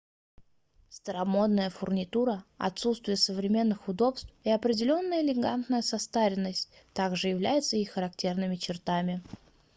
старомодная фурнитура отсутствие современных удобств и определённая элегантная состаренность также являются их характерными чертами